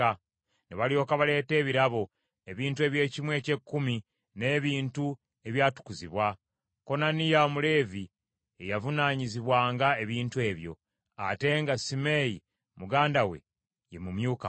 Ne balyoka baleeta ebirabo, ebintu eby’ekimu eky’ekkumi, n’ebintu ebyatukuzibwa. Konaniya Omuleevi ye yavunaanyizibwanga ebintu ebyo, ate nga Simeeyi muganda we ye mumyuka we.